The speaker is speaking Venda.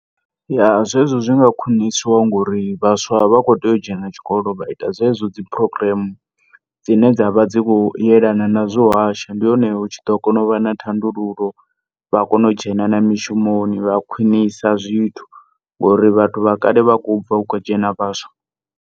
Ya, zwezwo zwinga khwiniswa ngori vhaswa vha kho tea u dzhena tshikolo vha ita dzedzo dzi program dzine dzavha dzikho yelana na zwa u hasha ndi hone hutshiḓo kona uvha na thandululo vha kona u dzhena na mishumoni vha khwinisa zwithu, ngori vhathu vha kale vha kho ubva hu kho dzhena vhaswa.